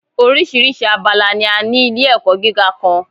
Oríṣiríṣi abala ni a ní ilé ẹ̀kọ́ gíga kan.